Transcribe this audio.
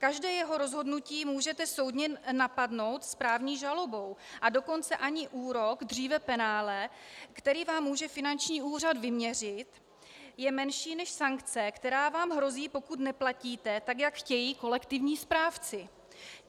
Každé jeho rozhodnutí můžete soudně napadnout správní žalobou, a dokonce ani úrok, dříve penále, který vám může finanční úřad vyměřit, je menší než sankce, která vám hrozí, pokud neplatíte, tak jak chtějí kolektivní správci.